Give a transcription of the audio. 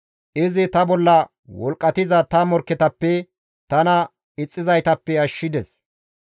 Izi ta bolla wolqqatiza ta morkketappe, tana ixxizaytappe ashshides.